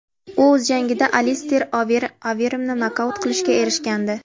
U o‘z jangida Alister Overimni nokaut qilishga erishgandi.